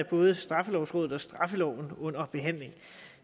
både straffelovrådet og straffeloven under behandling